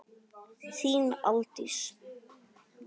Þín Aldís.